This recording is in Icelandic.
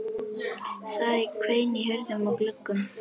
Það hvein í hurðum og gluggum.